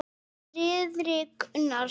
Þiðrik Unason.